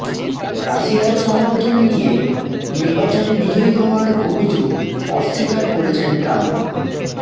রাশিয়ার সমর্থন নিয়ে নির্বাচনে বিজয়ী হওয়ার অভিযোগ অস্বীকার করেছেন ট্রাম্প